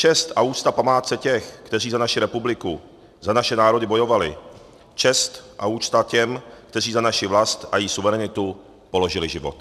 Čest a úcta památce těch, kteří za naši republiku, za naše národy bojovali, čest a úcta těm, kteří za naši vlast a její suverenitu položili život.